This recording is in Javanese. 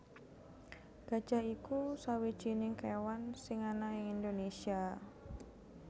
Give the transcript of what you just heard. Gajah iku sawijining kéwan sing ana ing Indonésia